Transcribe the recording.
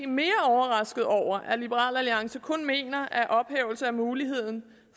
mere overrasket over at liberal alliance kun mener at ophævelse af muligheden